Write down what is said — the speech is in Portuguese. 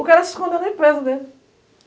O cara se escondeu na empresa dele.